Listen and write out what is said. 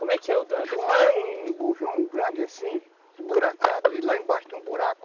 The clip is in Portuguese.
Como é que é o... Defumar é um grande assim, e lá embaixo tem um buraco.